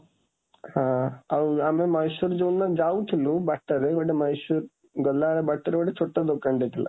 ଆଁ ଆଉ ଆମେ ମହୀଶୂର ଯୋଉଦିନ ଯାଉଥିଲୁ, ବାଟରେ, ଗୋଟେ ମହୀଶୂର ଗଲାବେଳେ ବାଟରେ ଗୋଟେ ଛୋଟ ଦୋକାନ ଟେ ଥିଲା।